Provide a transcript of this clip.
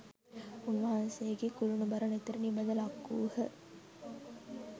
උන්වහන්සේගේ කුළුණුබර නෙතට නිබඳ ලක්වූහ.